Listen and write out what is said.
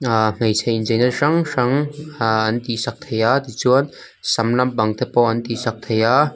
ahh hmeichhe incheina hrang hrang ahh an tih sak thei a tichuan sam lampang pawh an tihsak thei a.